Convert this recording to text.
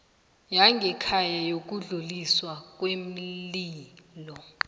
yangekhaya yokudluliswa kweenlilo